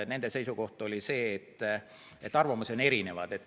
Nende seisukoht oli see, et arvamusi on erinevaid.